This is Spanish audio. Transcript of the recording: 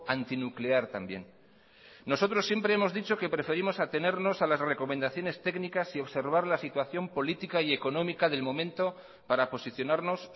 antinuclear también nosotros siempre hemos dicho que preferimos atenernos a las recomendaciones técnicas y observar la situación política y económica del momento para posicionarnos